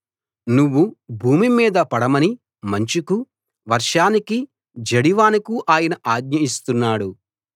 నువ్వు భూమి మీద పడమని మంచుకు వర్షానికి జడివానకు ఆయన ఆజ్ఞ ఇస్తున్నాడు